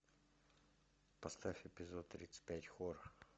поставь эпизод тридцать пять хор